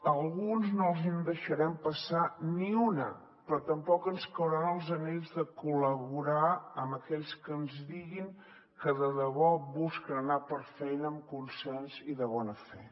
a alguns no els en deixarem passar ni una però tampoc ens cauran els anells de col·laborar amb aquells que ens diguin que de debò busquen anar per feina amb consens i de bona fe